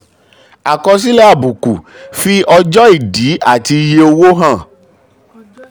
àkọsílẹ̀ àbùkù: fi ọjọ́ ìdí àti iye owó hàn.